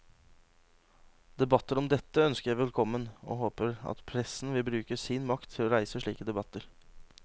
Debatter om dette ønsker jeg velkommen, og jeg håper at pressen vil bruke sin makt til å reise slike debatter.